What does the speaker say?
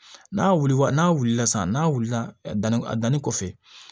N'a wulila n'a wulila sisan n'a wulila danni a danni kɔfɛ